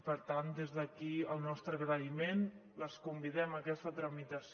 per tant des d’aquí el nostre agraïment les convidem a aquesta tramitació